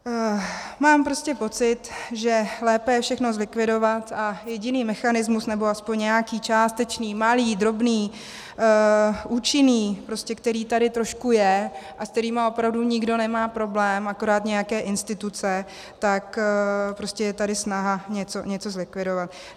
Mám prostě pocit, že lépe je všechno zlikvidovat a jediný mechanismus, nebo aspoň nějaký částečný, malý, drobný, účinný, prostě který tady trošku je a se kterým opravdu nikdo nemá problém, akorát nějaké instituce, tak prostě je tady snaha něco zlikvidovat.